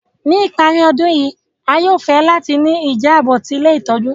Ni ìparí ọdun yi, a yóò fẹ láti ni ìjábò ti ilé ìtójú